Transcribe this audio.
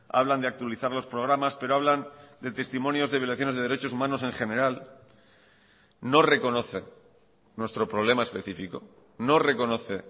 hablan de actualizar los programas pero hablan de testimonios de violaciones de derechos humanos en general no reconocen nuestro problema especifico no reconoce